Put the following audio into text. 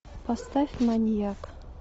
поставь маньяк